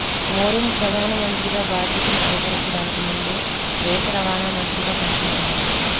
marine ప్రధాన మంత్రిగా బాధ్యతలు స్వీకరించడానికి ముందు దేశ రవాణా మంత్రిగా పనిచేశారు